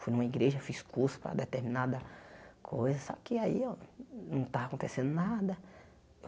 Fui numa igreja, fiz curso para determinada coisa, só que aí eu não estava acontecendo nada.